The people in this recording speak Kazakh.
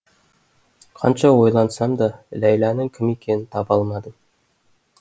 қанша ойлансам да ләйланың кім екенін таба алмадым